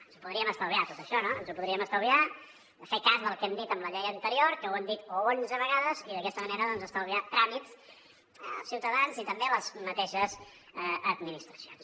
ens ho podríem estalviar tot això no ens ho podríem estalviar fer cas del que hem dit amb la llei anterior que ho hem dit onze vegades i d’aquesta manera doncs estalviar tràmits als ciutadans i també a les mateixes administracions